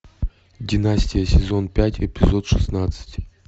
династия сезон пять эпизод шестнадцать